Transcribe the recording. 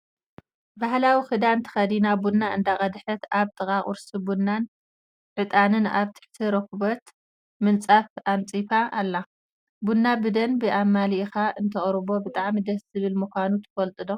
ባህላዊ ክዳን ተከዲና ቡና እንዳቀደሓት ኣብ ጥቃኣ ቁርሲ ቡናን ዕጣንን ኣብ ትሕቲ ሬኬቦት ምንፃፍ ኣንፂፋ ኣላ። ቡና ብደንቢ ኣማሊኢካ እንትቅርቦ ብጣዕሚ ደስ ዝብል ምኳኑ ትፈልጡ ዶ?